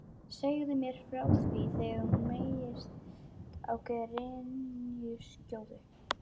Segðu mér frá því þegar þú meigst á grenjuskjóðu.